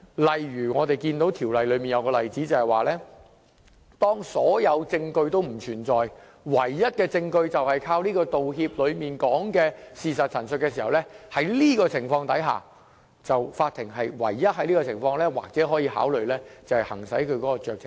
例如我們看到《條例草案》下有一個例子，就是當所有證據都不存在，而唯一的證據就是靠《條例草案》所述的事實陳述的情況下，法庭只有在這情況下可以考慮行使酌情權。